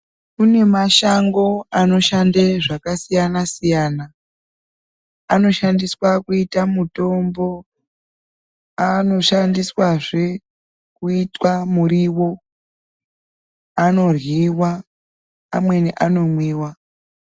Kune mashango anoshanda zvakasiyana siyana anoshandiswa kuita mutombo anoshandiswazve kuitwa muriwo anoryiwa amweni anomwiwa.